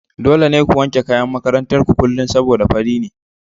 Dole ne ku wanke kayan makarantar ku kullum saboda fari ne.